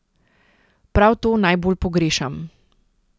Prav to najbolj pogrešam.